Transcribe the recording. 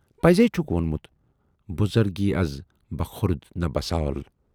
پَزی چھُکھ وونمُت بُزرگی از بہ خرد نہ بہ سال۔